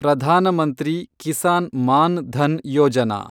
Pradhan Mantri Kisan Maan Dhan Yojana